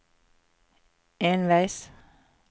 enveis